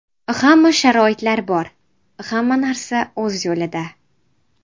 Hamma sharoitlar bor, hamma narsa o‘z yo‘lida.